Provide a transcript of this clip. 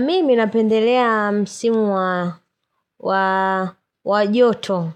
Mimi napendelea msimu wa joto.